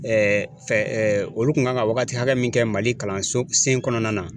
fɛ olu kun kan ka wagati hakɛ min kɛ Mali kalanso sen kɔnɔna na.